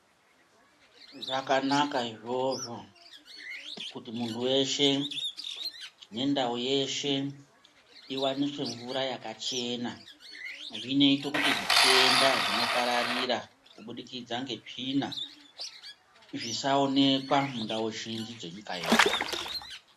Zvakanaka izvozvo kuti munhu weshe nendau yeshe iwaniswe mvura yakachena. Zvinoite kuti zvitenda zvinopararira kubudikidza ngetsvina zvisaonekwa mundau zhinji dzenyika yedu.